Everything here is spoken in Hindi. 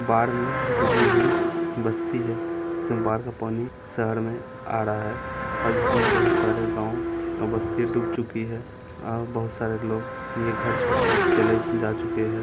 बाढ़ में डूबी हुई बस्ती हैं इसमें बाढ़ का पानी शहर में आ रहा हैं और जिसमें बहोत सारे गांव और बस्ती डूब चुकी हैं और बहोत सारे लोग ये घर छोड़ के चले जा चुके हैं।